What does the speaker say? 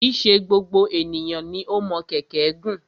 Kì í ṣe gbogbo ènìyàn ni o mọ kẹ̀kẹ́ gùn.